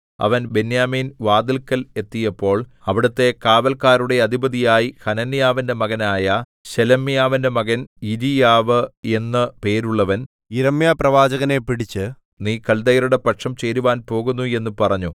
അവൻ ബെന്യാമീൻവാതില്ക്കൽ എത്തിയപ്പോൾ അവിടത്തെ കാവല്ക്കാരുടെ അധിപതിയായി ഹനന്യാവിന്റെ മകനായ ശെലെമ്യാവിന്റെ മകൻ യിരീയാവ് എന്നു പേരുള്ളവൻ യിരെമ്യാപ്രവാചകനെ പിടിച്ച് നീ കല്ദയരുടെ പക്ഷം ചേരുവാൻ പോകുന്നു എന്നു പറഞ്ഞു